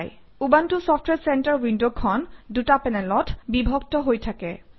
Ubuntu software center উইণ্ডখন দুটা পেনেলত বিভক্ত হৈ থাকে